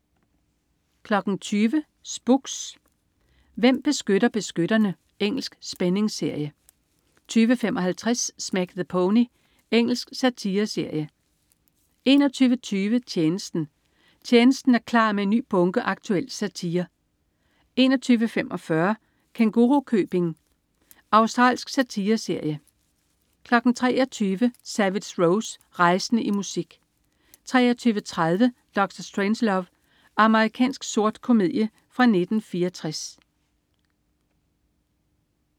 20.00 Spooks: Hvem beskytter beskytterne? Engelsk spændingsserie 20.55 Smack the Pony. Engelsk satireserie 21.20 Tjenesten. "Tjenesten" er klar med en ny bunke aktuel satire 21.45 Kængurukøbing. Australsk satireserie 23.00 Savage Rose. Rejsende i musik 23.30 Dr. Strangelove. Amerikansk sort komedie fra 1964